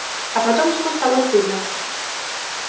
а потом ему стало стыдно